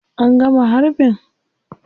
An gama harbin?